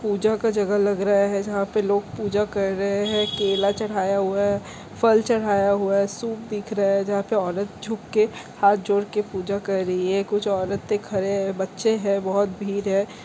पूजा का जगह लग रहा है जहाँ पे लोग पूजा कर रहे है केला चढ़ाया हुआ है फल चढाया हुआ है सूप दिख रहा है जहाँ पे औरत झुक के हाथ जोर के पूजा कर रही है कुछ औरते खड़े है बच्चे है बहोत भीड़ है।